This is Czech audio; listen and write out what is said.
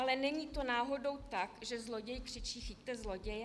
Ale není to náhodou tak, že zloděj křičí chyťte zloděje?